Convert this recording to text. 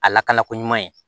A lakana ko ɲuman ye